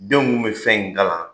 Denw be fɛn in kalan